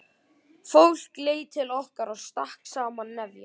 Fólk leit til okkar og stakk saman nefjum.